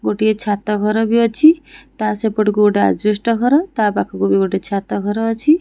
ଗୋଟିଏ ଛାତ ଘର ଭି ଅଛି ତା ସେପଟକୁ ଗୋଟିଏ ଅଜବେସ୍ତ୍ ଘର ତା ପାଖକୁ ଭି ଗୋଟିଏ ଛାତ ଘର ଅଛି।